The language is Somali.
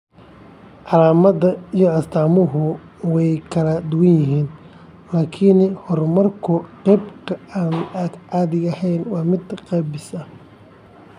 Calaamadaha iyo astaamuhu way kala duwan yihiin, laakiin horumarka qaabka aan caadiga ahayn waa mid gaabis ah.